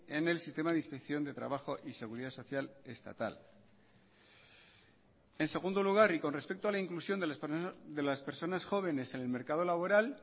en el sistema de inspección de trabajo y seguridad social estatal en segundo lugar y con respecto a la inclusión de las personas jóvenes en el mercado laboral